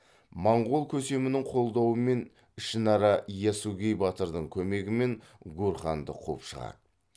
монғол көсемінің қолдауымен ішінара ясугей батырдың көмегімен гурханды қуып шығады